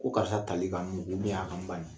Ko karisa tali ka n mugu a ka n bani